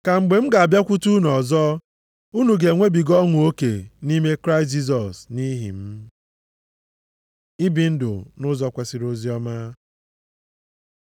Ka mgbe m ga-abịakwute unu ọzọ, unu ga-enwebiga ọṅụ oke nʼime Kraịst Jisọs nʼihi m. Ibi ndụ nʼụzọ kwesiri oziọma